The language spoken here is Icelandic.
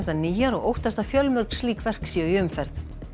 nýjar og óttast að fjölmörg slík verk séu í umferð